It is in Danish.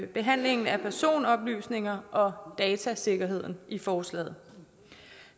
behandlingen af personoplysninger og datasikkerheden i forslaget